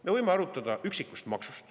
Me võime arutada üksikuid makse.